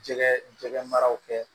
Jɛgɛ jɛgɛ maraw kɛ